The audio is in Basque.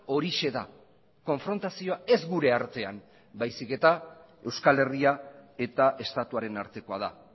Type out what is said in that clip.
horixe da konfrontazioa ez gure artean baizik eta euskal herria eta estatuaren artekoa da